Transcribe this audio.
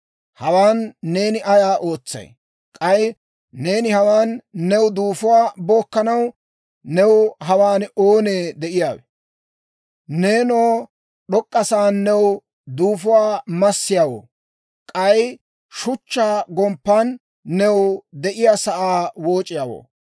‹Hawaan neeni ayaa ootsay? K'ay neeni hawaan new duufuwaa bookkanaw, new hawaan oonee de'iyaawe? Neenoo d'ok'k'a sa'aan new duufuwaa massiyaawoo, k'ay shuchchaa gomppan new de'iyaa sa'aa wooc'iyaawoo,